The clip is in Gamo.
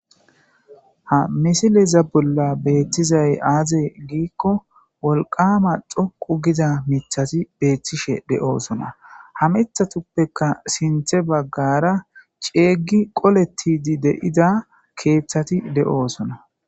ha misileza bolla beettizay aaze giikko wolqama dhoqu giza mithati beethtishe de7oosona ha mithatuppeka sinthe baggara ceeygi qoletidi deida keeththati de7oosona